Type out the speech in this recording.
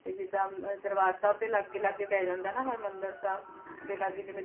ਤੇ ਜਿਦਾਂ ਦਰਬਾਰ ਸਾਹਿਬ ਦੇ ਲਾਗੇ ਲਾਗੇ ਪੈ ਜਾਂਦਾ ਨਾ ਹਰਮਿੰਦਰ ਸਾਹਿਬ ਦੇ ਲਾਗੇ ਜਿਵੇਂ